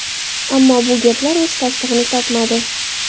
Ammo bu gaplar o‘z tasdig‘ini topmadi.